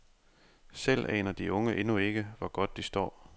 Selv aner de unge endnu ikke, hvor godt de står.